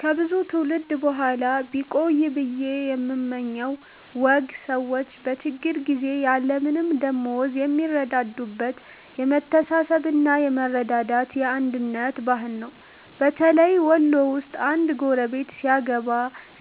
ከብዙ ትውልድ በኋላ ቢቆይ ብየ የምመኘው ወግ ሰዎች በችግር ጊዜ ያለምንም ደመወዝ የሚረዳዱበት የመተሳሰብና የመረዳዳት፣ የአንድነት ባህል ነው። በተለይ ወሎ ውስጥ አንድ ጎረቤት ሲያገባ፣